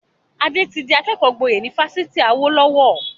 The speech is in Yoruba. Ade tí di akẹ́kọ̀ọ́ gboyè ni Fásitì Awolowo